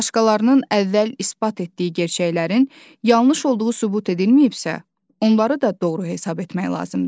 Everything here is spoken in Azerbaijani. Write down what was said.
Başqalarının əvvəl isbat etdiyi gerçəklərin yanlış olduğu sübut edilməyibsə, onları da doğru hesab etmək lazımdır.